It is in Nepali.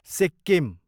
सिक्किम